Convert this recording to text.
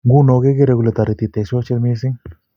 Nguno kekere kole toriti teksosite mising